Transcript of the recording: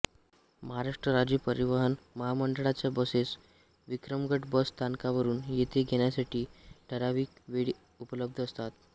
महाराष्ट्र राज्य परिवहन महामंडळाच्या बसेस विक्रमगड बस स्थानकावरून येथे येण्यासाठी ठराविक वेळी उपलब्ध असतात